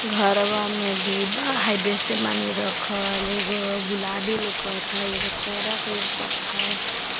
घरवा में डिब्बा हई बेसे मानी रखल एगो गुलाबी लोकथई एगो चरक लोकथई।